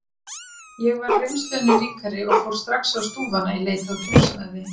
Ég var reynslunni ríkari og fór strax á stúfana í leit að húsnæði.